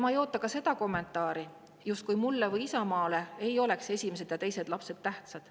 Ma ei oota ka seda kommentaari, justkui mulle või Isamaale ei oleks esimesed ja teised lapsed tähtsad.